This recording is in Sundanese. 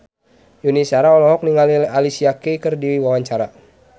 Yuni Shara olohok ningali Alicia Keys keur diwawancara